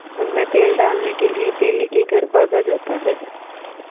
उनमें तेल डालने के लिए तेली के घर भागा जाता है